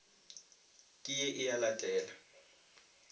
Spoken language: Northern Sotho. ke ye e a latela